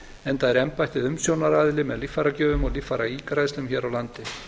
enda er embættið umsjónaraðili með líffæragjöfum og líffæraígræðslum hér á landi